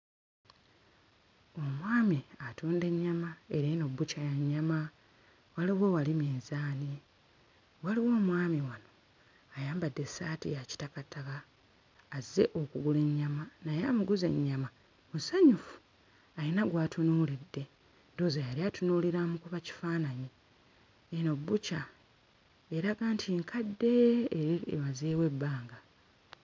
Omwami atunda ennyama era eno bbukya ya nnyama waliwo wali minzaani waliwo omwami wano ayambadde essaati ya kitakataka azze okugula ennyama naye amuguza ennyama musanyufu ayina gw'atunuulidde ndowooza yali atunuulira amukuba kifaananyi eno bbukya eraga nti nkadde era emazeewo ebbanga.